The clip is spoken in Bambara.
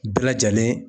Bɛɛ lajɛlen